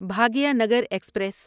Bhagyanagar express